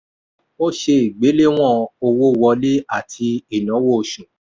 ó ṣe ìgbéléwọ̀n owó wọlé àti ináwó osù.